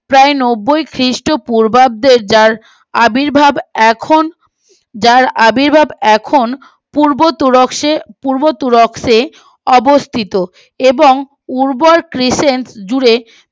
প্রায় নব্বই খ্রীষ্ট পূর্বাব্দে যার আবির্ভাব এখন যার আবির্ভাব এখন পূর্ব তুরস্কে পূর্ব তুরস্কে অবস্থিত এবং উর্বর ক্রিসেন জুড়ে